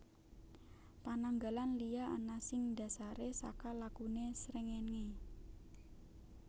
Pananggalan liya ana sing dhasaré saka lakuné srengéngé